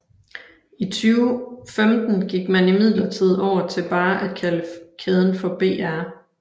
I 2015 gik man imidlertid over til bare at kalde kæden for BR